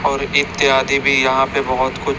और इत्यादि भी यहाँ पे बहोत कुछ --